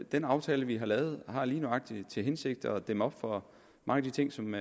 den aftale vi har lavet har lige nøjagtig til hensigt at dæmme op for mange af de ting som